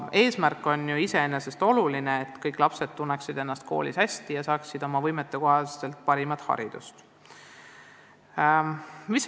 Samas eesmärk on ju iseenesest oluline: kõik lapsed peavad ennast koolis hästi tundma ja saama nende võimetele vastavat parimat haridust.